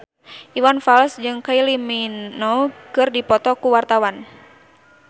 Iwan Fals jeung Kylie Minogue keur dipoto ku wartawan